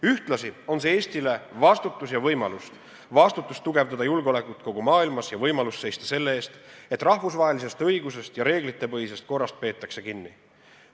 Ühtlasi on see Eestile vastutus ja võimalus – vastutus tugevdada julgeolekut kogu maailmas ja võimalus seista selle eest, et rahvusvahelisest õigusest ja reeglitepõhisest korrast peetakse kinni.